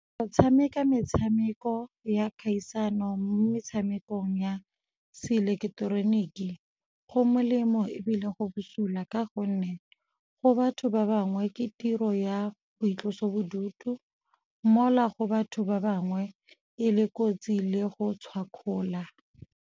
Go tshameka metshameko ya kgaisano mo metshamekong ya seileketeroniki, go melemo ebile go busula ka gonne go batho ba bangwe ke tiro ya boitlosobodutu mola go batho ba bangwe e le kotsi le go tshwakgola.